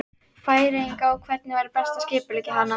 Færeyinga, og hvernig væri best að skipuleggja hana.